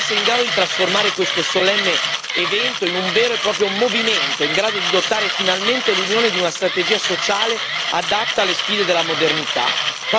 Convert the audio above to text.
Dobbiamo essere in grado di trasformare questo solenne evento in un vero e proprio movimento, in grado di dotare finalmente l'Unione di una strategia sociale adatta alle sfide della modernità.